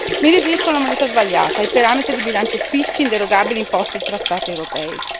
Mi riferisco alla moneta sbagliata, ai parametri di bilancio fissi inderogabili imposti dai trattai europei.